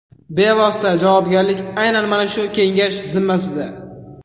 Bevosita javobgarlik aynan mana shu kengash zimmasida.